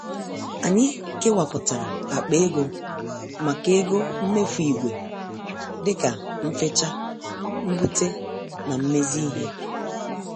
Anyị kewaputara akpa ego maka ego mmefu ìgwè dịka mfecha ,mbute na mmezi ihe.